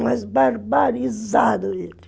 Mas barbarizaram ele.